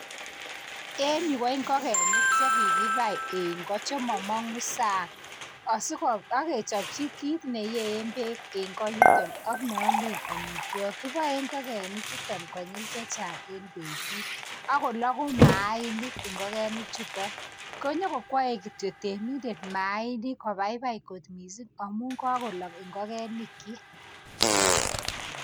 En yu ko ingokenik chekikibau en goo chemomonguu sang. Akechobchii kit neyeen beek en goo yutok ak neomeen amitwogiik. Kiboe ingokenik chu konyil chechang en betut, akologuu mainik ingokenichuton. Konyoon kokwoe kityok temindet kobaibai, kot missing sum kakolok ingokenikyik